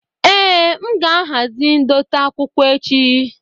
Èé, m ga-ahazi ndote akwụkwọ echi.